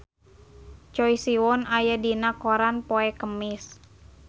Choi Siwon aya dina koran poe Kemis